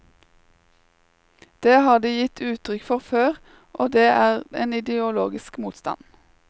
Det har de gitt uttrykk for før, og det er en ideologisk motstand.